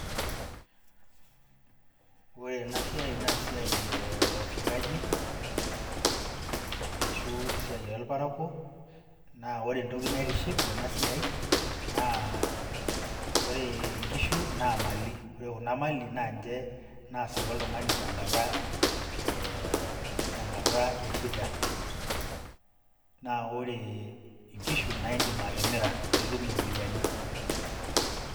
Ore enasiai nesiai e wafugaji, arashu esiai orparakuo, na ore entoki naitiship tenasiai, naa, ore nkishu, naa mali. Ore kuna mali, na nche nasaru oltung'ani tenkata, tenkata eshida. Na ore inkishu, na idim atimira nitum iropiyiani.